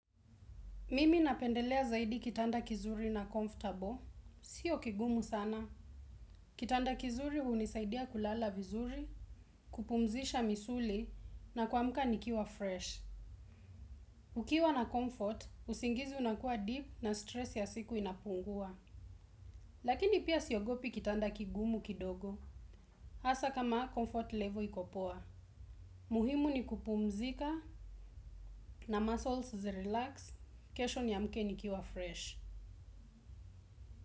Mimi napendelea zaidi kitanda kizuri na comfortable, sio kigumu sana. Kitanda kizuri hunisaidia kulala vizuri, kupumzisha misuli na kuamka nikiwa fresh. Ukiwa na comfort, usingizi unakua deep na stress ya siku inapungua. Lakini pia siogopi kitanda kigumu kidogo, hasa kama comfort level iko poa. Muhimu ni kupumzika na muscles zirelax, kesho niamke nikiwa fresh.